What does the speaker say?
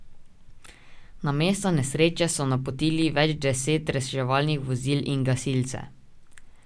Na mesto nesreče so napotili več deset reševalnih vozil in gasilce.